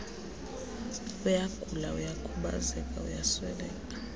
uyagula uyakhubazeka uyasweleka